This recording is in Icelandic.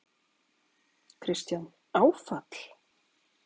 Kristján: Áfall?